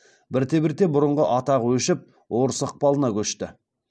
бірте бірте бұрынғы атағы өшіп орыс ықпалына көшті